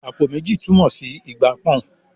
"Àpò méjì" túmọ̀ sí ìgbà pọ́n-ọ́n